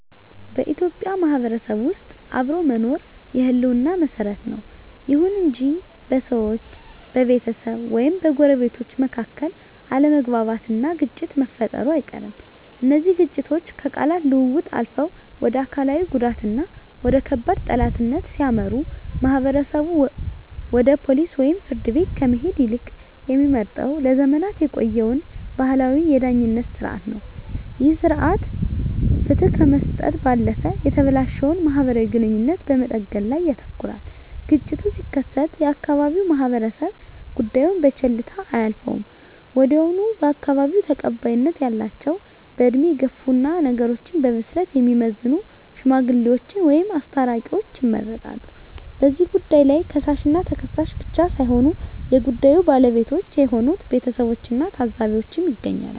በኢትዮጵያ ማህበረሰብ ውስጥ አብሮ መኖር የህልውና መሰረት ነው። ይሁን እንጂ በሰዎች፣ በቤተሰብ ወይም በጎረቤቶች መካከል አለመግባባትና ግጭት መፈጠሩ አይቀርም። እነዚህ ግጭቶች ከቃላት ልውውጥ አልፈው ወደ አካላዊ ጉዳትና ወደ ከባድ ጠላትነት ሲያመሩ፣ ማህበረሰቡ ወደ ፖሊስ ወይም ፍርድ ቤት ከመሄድ ይልቅ የሚመርጠው ለዘመናት የቆየውን ባህላዊ የዳኝነት ሥርዓት ነው። ይህ ሥርዓት ፍትህ ከመስጠት ባለፈ የተበላሸውን ማህበራዊ ግንኙነት በመጠገን ላይ ያተኩራል። ግጭቱ ሲከሰት የአካባቢው ማህበረሰብ ጉዳዩን በቸልታ አያልፈውም። ወዲያውኑ በአካባቢው ተቀባይነት ያላቸው፣ በዕድሜ የገፉና ነገሮችን በብስለት የሚመዝኑ "ሽማግሌዎች" ወይም "አስታራቂዎች" ይመረጣሉ። በዚህ ጉባኤ ላይ ከሳሽና ተከሳሽ ብቻ ሳይሆኑ የጉዳዩ ባለቤቶች የሆኑት ቤተሰቦችና ታዘቢዎችም ይገኛሉ።